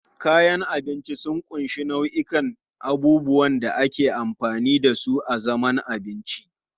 Kayan abinci sun ƙunshi nau'ikan abubuwan da ake amfani da su a zaman abinci.